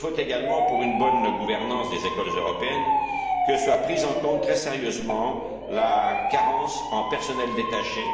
Il faut également, pour une bonne gouvernance des écoles européennes, que soit prise en compte très sérieusement la carence en personnel détaché.